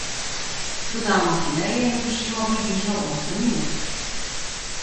Dodamo fileje in dušimo približno osem minut.